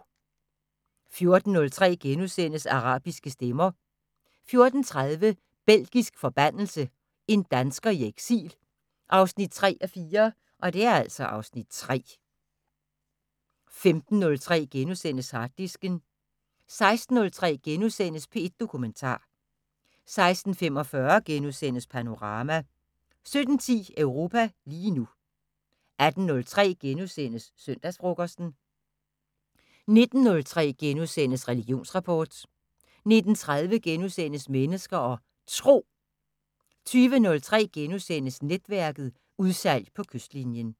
14:03: Arabiske stemmer * 14:30: Belgisk forbandelse – En dansker i eksil 3:4 (Afs. 3) 15:03: Harddisken * 16:03: P1 Dokumentar * 16:45: Panorama * 17:10: Europa lige nu 18:03: Søndagsfrokosten * 19:03: Religionsrapport * 19:30: Mennesker og Tro * 20:03: Netværket: Udsalg på kystlinjen *